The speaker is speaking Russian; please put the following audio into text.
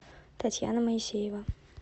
татьяна моисеева